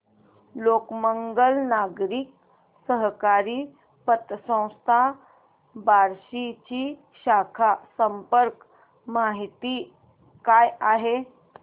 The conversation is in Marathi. लोकमंगल नागरी सहकारी पतसंस्था बार्शी ची शाखा संपर्क माहिती काय आहे